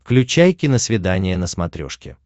включай киносвидание на смотрешке